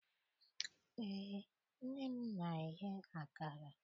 Eé, nne m na-eye akara